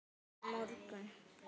Hvers vegna á morgun?